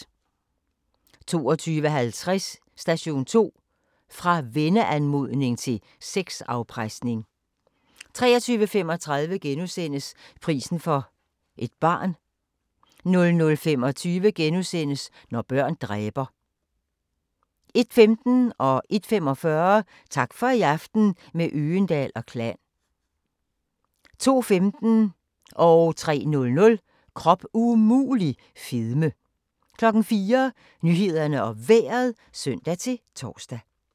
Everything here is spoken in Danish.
22:50: Station 2: Fra venneanmodning til sexafpresning 23:35: Prisen for et barn * 00:25: Når børn dræber * 01:15: Tak for i aften – med Øgendahl & Klan 01:45: Tak for i aften – med Øgendahl & Klan 02:15: Krop umulig - fedme 03:00: Krop umulig - fedme 04:00: Nyhederne og Vejret (søn-tor)